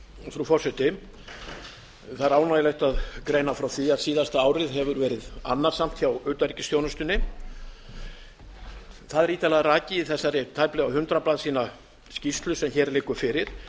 frú forseti það er ánægjulegt að greina frá því að síðasta árið hefur verið annasamt hjá utanríkisþjónustunni það er ítarlega rakið í þessari tæplega hundrað blaðsíðna skýrslu sem hér liggur fyrir